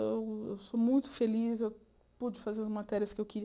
Eu eu sou muito feliz, eu pude fazer as matérias que eu